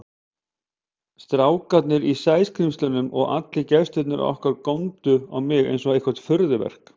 Strákarnir í Sæskrímslunum og allir gestirnir okkar góndu á mig einsog eitthvert furðuverk.